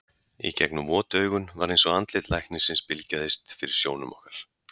Í gegnum vot augun var eins og andlit læknisins bylgjaðist fyrir sjónum okkar.